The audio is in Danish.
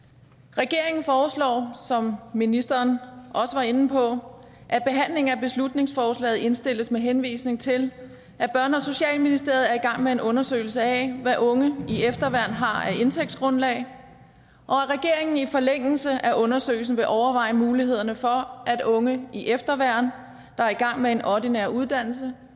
regeringen foreslår som ministeren også var inde på at behandlingen af beslutningsforslaget indstilles med henvisning til at børne og socialministeriet er i gang med en undersøgelse af hvad unge i efterværn har af indtægtsgrundlag og at regeringen i forlængelse af undersøgelsen vil overveje mulighederne for at unge i efterværn der er i gang med en ordinær uddannelse